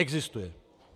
Existuje.